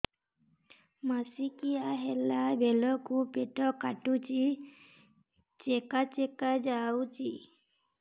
ମାସିକିଆ ହେଲା ବେଳକୁ ପେଟ କାଟୁଚି ଚେକା ଚେକା ଯାଉଚି